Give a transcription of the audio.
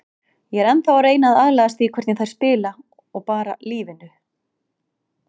Ég er ennþá að reyna að aðlagast því hvernig þær spila og bara lífinu.